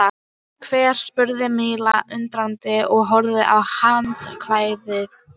Hver? spurði Milla undrandi og horfði á handklæðið.